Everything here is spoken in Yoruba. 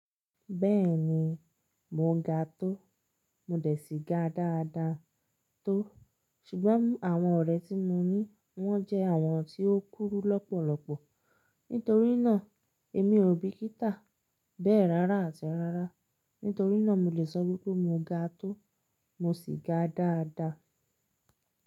Bẹ́ẹ̀ni, mo ga tó, mo dẹ̀ síga dáadáa tó, ṣùgbọ́n àwọn ọ̀rẹ́ tí mo ní wọ́n jẹ́ àwọn tí ó kúrú lọ́pọ̀lọpọ̀, nítorí náà èmi ò bìkítà bẹ́ẹ̀ rárá àti rárá, nítorí náà mo lè sọ wípé mo ga tó, mo sì ga dáadáa.